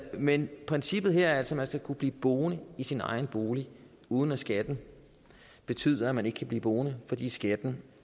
men princippet her er altså at man skal kunne blive boende i sin egen bolig uden at skatten betyder at man ikke kan blive boende fordi skatten